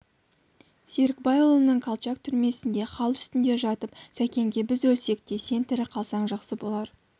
серікбайұлының колчак түрмесінде хал үстінде жатып сәкенге біз өлсек те сен тірі қалсаң жақсы болар